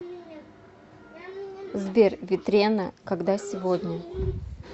сбер ветрена когда сегодня